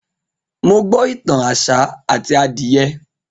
Mo gbo itan áṣá ati adiye